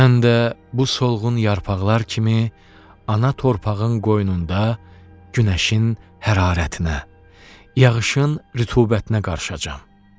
Mən də bu solğun yarpaqlar kimi ana torpağın qoynunda günəşin hərarətinə, yağışın rütubətinə qarışacam.